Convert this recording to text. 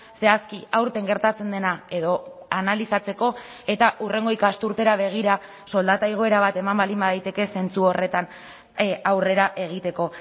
zehazki aurten gertatzen dena edo analizatzeko eta hurrengo ikasturtera begira soldata igoera bat eman baldin badaiteke zentzu horretan aurrera egiteko